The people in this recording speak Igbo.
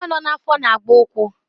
Nwa n'afọ na-agba ụkwụ